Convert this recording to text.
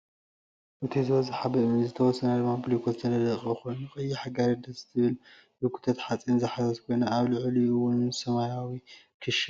እቱይ ዝበዘሓ ብእምኒ ዝተወሰና ድማ ብብሊኮት ዝተነደቀ ኮይኑ ቀያሕ ጋሪ ደስ ትብል ዝጉተት ሓፂን ዝሓዘት ኮይና ኣብ ልዕሊኡ እውን ሰማያዊ ክሻ ኣሎ።